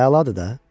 Əladır da.